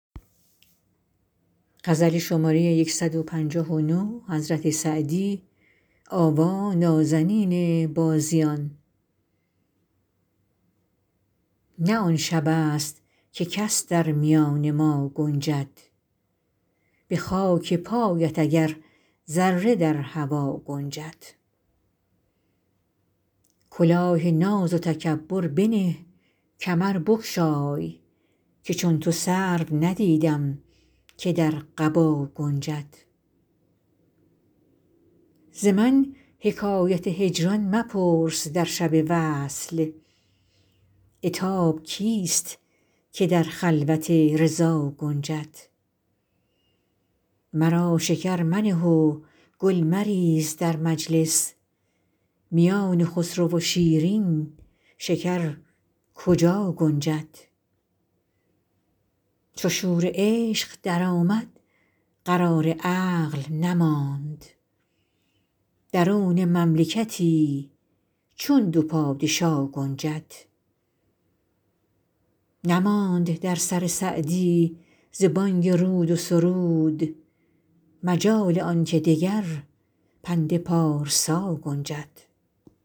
نه آن شبست که کس در میان ما گنجد به خاک پایت اگر ذره در هوا گنجد کلاه ناز و تکبر بنه کمر بگشای که چون تو سرو ندیدم که در قبا گنجد ز من حکایت هجران مپرس در شب وصل عتاب کیست که در خلوت رضا گنجد مرا شکر منه و گل مریز در مجلس میان خسرو و شیرین شکر کجا گنجد چو شور عشق درآمد قرار عقل نماند درون مملکتی چون دو پادشا گنجد نماند در سر سعدی ز بانگ رود و سرود مجال آن که دگر پند پارسا گنجد